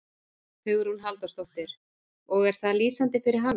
Hugrún Halldórsdóttir: Og er það lýsandi fyrir hana?